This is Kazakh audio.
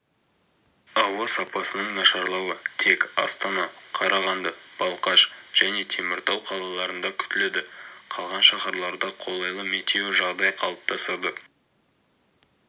ауа сапасының нашарлауы тек астана қарағанды балқаш және теміртау қалаларында күтіледі қалған шаһарларда қолайлы метеожағдай қалыптасады